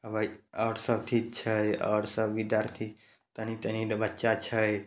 हां भाई और सब ठीक छै और सब विद्यार्थी तनी तनी ले बच्चा छै।